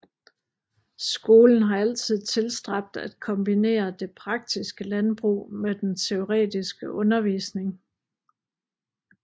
Skolen har altid tilstræbt at kombinere det praktiske landbrug med den teoretiske undervisning